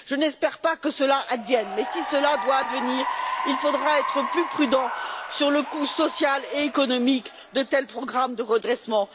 Je n'espère pas que cela advienne, mais si cela doit advenir, il faudra être plus prudent sur le coût social et économique de tels programmes de redressement.